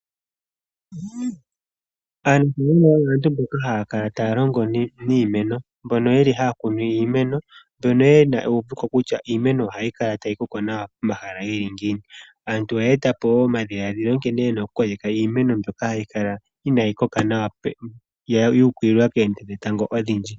Aantu haya kala taya longo niimeno mbono yeli haya kunu iimeno mbono yeli yena ewuveko kutya iimeno ohayi kala ta yi koko nwa pomahala geli ngini. Aantu oha ya eta po wo omadhiladhilo nkene yena oku koleka iimeno mbyoka hayi kala inayi koka nawa yeya yu ukililwa koonte dhetango odhindji.